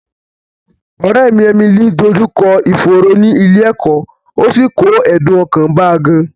Ọ̀rẹ́ mi Emily dójú kọ ìfòòró ẹni ní ilé ẹ̀kọ́, ó sì kó ẹ̀dùn ọkàn bá a gan-an